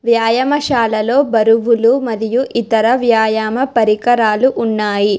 వ్యాయామశాలలో బరువులు మరియు ఇతర వ్యాయామ పరికరాలు ఉన్నాయి.